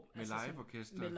Med liveorkester